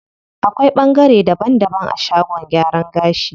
Akwai ɓangare daban daban a shagon gyaran gashi.